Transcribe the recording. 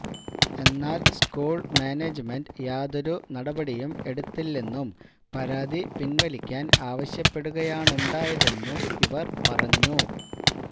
എന്നാല് school management യാതൊരു നടപടിയും എടുത്തില്ലെന്നും പരാതി പിന്വലിക്കാന് ആവശ്യപ്പെടുകയാണുണ്ടായതെന്നും ഇവര് പറഞ്ഞു